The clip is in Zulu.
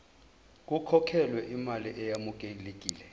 kukhokhelwe imali eyamukelekile